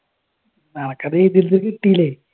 അനക്കത് എഴുതിയെടുത്ത് കിട്ടിയില്ലേ?